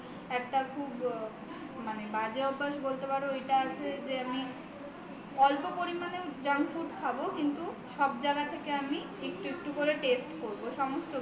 একটা খুব বাজে অভ্যাস বলতে পারো ওইটা আছে যে অল্প পরিমাণেই junk food খাব কিন্তু সব জায়গা থেকে একটু একটু করে test করব সমস্ত কিছু